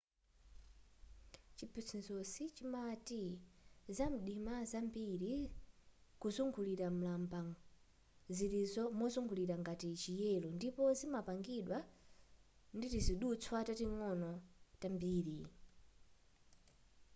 chiphunzitsochi chimati zinthu zamdima kwambiri kuzungulira mlalang'amba zili mozungulira ngati chi yelo ndipo zimapangidwa nditizidutswa tating'onoting'ono tambiri